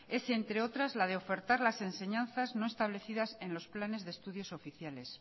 es entre otras la de ofertar las enseñanzas no establecidas en los planes de estudios oficiales